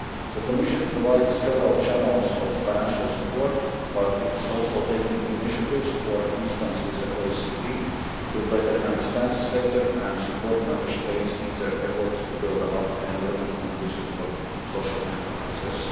The Commission provides several channels of financial support but it is also taking initiatives, for instance with the OECD, to better understand the sector and support Member States in their efforts to build up an environment conducive to social enterprises.